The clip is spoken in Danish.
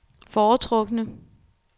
foretrukne